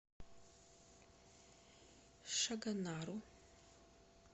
шагонару